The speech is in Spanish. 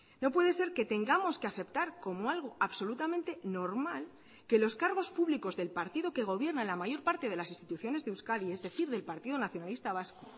no puede ser que tengamos que aceptar como algo absolutamente normal que los cargos públicos del partido que gobierna en la mayor parte de las instituciones de euskadi es decir del partido nacionalista vasco